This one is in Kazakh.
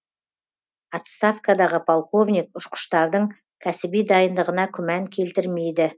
отставкадағы полковник ұшқыштардың кәсіби дайындығына күмән келтірмейді